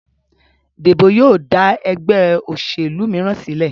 Debo yíò da ègbé òṣèlú míràn sílè.